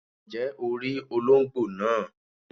Ǹjẹ́ o rí olóńgbò naa